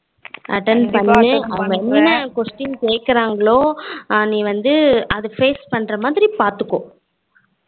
atten பண்ணு அவங்க என்ன question கேக்குறங்களோ நீ வந்து அது face பண்ணுற மாதிரி பாத்துக்கோ